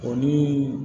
O ni